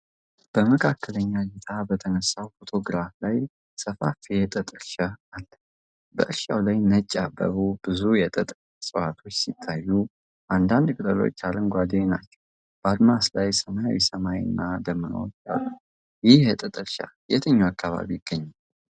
በመካከለኛ ዕይታ በተነሳው ፎቶግራፍ ላይ ሰፋፊ የጥጥ እርሻ አለ። በእርሻው ላይ ነጭ ያበቡ ብዙ የጥጥ እፅዋቶች ሲታዩ፣ አንዳንድ ቅጠሎች አረንጓዴ ናቸው። በአድማስ ላይ ሰማያዊ ሰማይ እና ደመናዎች አሉ። ይህ የጥጥ እርሻ የትኛው አካባቢ ይገኛል?